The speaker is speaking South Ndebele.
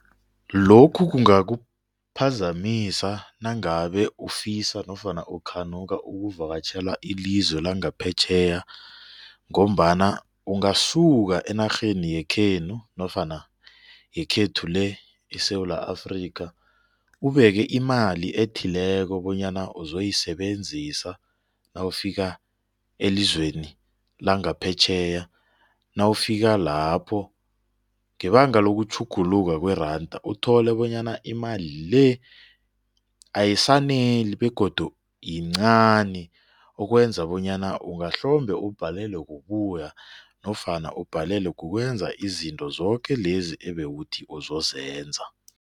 Lokhu kungakuphazamisa nangabe ufisa nofana ukhanuka ukuvakatjhela ilizwe langaphetjheya ngombana ungasuka enarheni yekhenu nofana yekhethu le eSewula Afrika ubeke imali ethileko bonyana uzoyisebenzisa nawufika elizweni langaphetjheya, nawufika lapho ngebanga lokutjhuguluka kweranda uthole bonyana imali le ayisaneli begodu yincani okwenza bonyana ungahlombe ubhalelwe kubuya nofana ubhalelwe kukwenza izinto zoke lezi ebewuthi uzozenza.